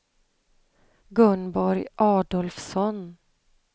Gunborg Adolfsson